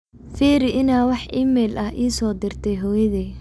firi in aa wax iimayl ah isoo dirtay hoyoday